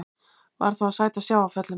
Varð þá að sæta sjávarföllum.